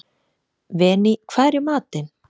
Véný, hvað er í matinn?